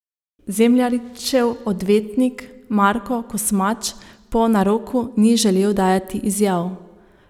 Zemljaričev odvetnik Marko Kosmač po naroku ni želel dajati izjav.